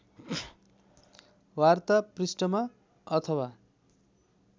वार्ता पृष्ठमा अथवा